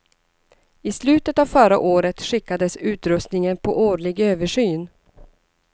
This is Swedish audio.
I slutet av förra året skickades utrustningen på årlig översyn.